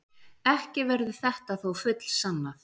Ekki verður þetta þó fullsannað.